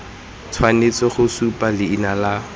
tshwanetse go supa leina la